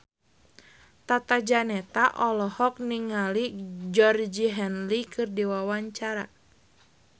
Tata Janeta olohok ningali Georgie Henley keur diwawancara